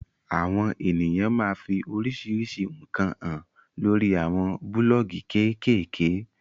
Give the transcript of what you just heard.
Awon eniyan maa fi orisirisi nkan han lori awon buloogi kekeeke